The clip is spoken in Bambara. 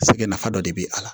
Sɛgɛ nafa dɔ de be a la